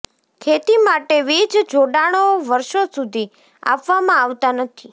ખેતી માટે વીજ જોડાણો વર્ષો સુધી આપવામાં આવતા નથી